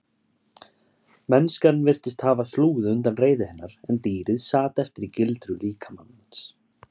Mennskan virtist hafa flúið undan reiði hennar en dýrið sat eftir í gildru líkamans.